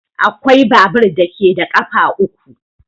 Akwai babur da ke da ƙafa uku.